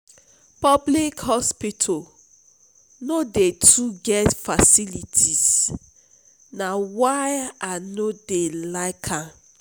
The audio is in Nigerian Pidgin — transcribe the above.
public hospitals no dey too get facilities na why i no dey like am.